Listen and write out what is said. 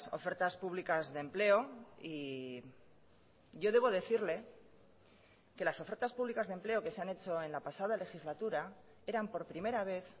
ofertas públicas de empleo y yo debo decirle que las ofertas públicas de empleo que se han hecho en la pasada legislatura eran por primera vez